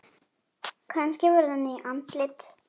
Kannski verða ný andlit.